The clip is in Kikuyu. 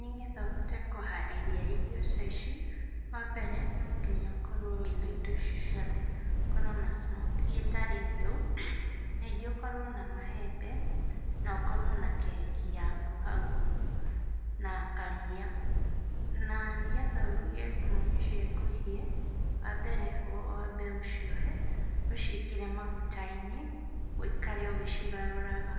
Nĩ getha ũhote kũharĩrĩria irio ta ici, wa mbere no nginya ũkorwo wĩna indo ciothe, ũkorwo na smokie ĩtarĩ hĩu, ningĩ ũkorwo na maembe na ũkorwo na keki yaku hau, na karia. Na nĩgetha ũruge smokie ciaku ihĩe, wambere wambe ũcioe, ũciĩkĩre maguta-inĩ ũikare ũgĩcigarũraga